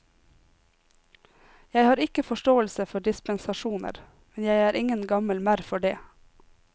Jeg har ikke forståelse for dispensasjoner, men jeg er ingen gammel merr for det.